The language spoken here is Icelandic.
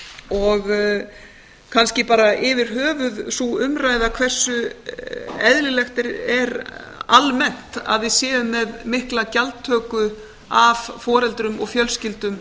og kannski bara yfirhöfuð sú umræða hversu eðlilegt er almennt að við séum með mikla gjaldtöku af foreldrum og fjölskyldum